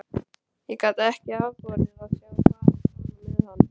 Ég gat ekki afborið að sjá farið svona með hann.